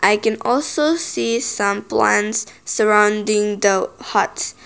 I can also see some plants surrounding the huts.